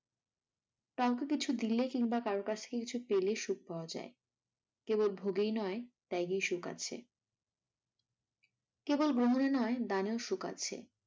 কাউকে কিছু দিলে কিংবা কারোর কাছ থেকে কিছু পেলে সুখ পাওয়া যাই কেবল ভোগেই নয় তাগেই সুখ আছে। কেবল নয় দানেও সুখ আছে।